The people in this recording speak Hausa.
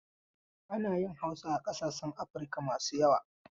Ana yin Hausa a ƙasashen Afirika masu yawa.